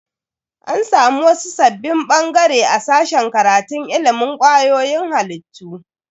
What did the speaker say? An samu wasu sabbin bangare a sashen karatun ilimin kwayoyin halittu.